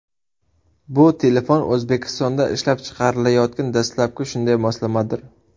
Bu telefon O‘zbekistonda ishlab chiqarilayotgan dastlabki shunday moslamadir.